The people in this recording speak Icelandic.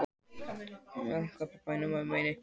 Ásleif, hvaða myndir eru í bíó á föstudaginn?